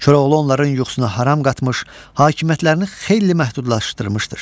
Koroğlu onların yuxusuna haram qatmış, hakimiyyətlərini xeyli məhdudlaşdırmışdır.